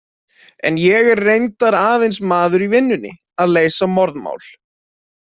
En ég er reyndar aðeins maður í vinnunni að leysa morðmál.